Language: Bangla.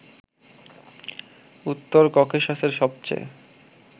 উত্তর ককেশাসের সবচেয়ে